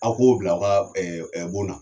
Aw k'o bila aw ka ɛ ɛ bon na